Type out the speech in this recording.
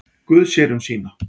Guð sér um sína.